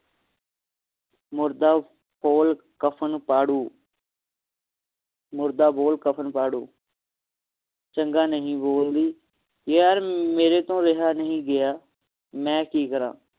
ਮੁਰਦਾ ਫੋਲ ਕਬਰ ਫਾੜੂ ਮੁਰਦਾ ਬੋਲ ਕਫ਼ਨ ਫਾੜੂ ਚੰਗਾ ਨਹੀਂ ਬੋਲਦੀ ਯਾਰ ਮੇਰੇ ਤੋਂ ਰਿਹਾ ਨੀ ਗਯਾ ਮੈਂ ਕਿ ਕਰਾ